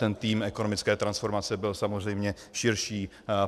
Ten tým ekonomické transformace byl samozřejmě širší.